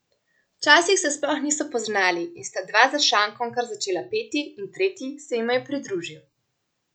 Včasih se sploh niso poznali in sta dva za šankom kar začela peti in tretji se jima je pridružil.